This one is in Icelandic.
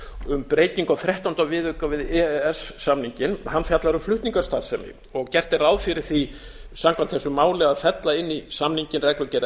um breytingu á þrettánda viðauka við e e s samninginn hann fjallar um flutningastarfsemi og gert er ráð fyrir því samkvæmt þessu máli að fella inn í samninginn reglugerð